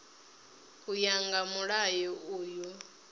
u ya nga mulayo uyu